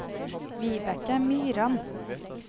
Wibeke Myran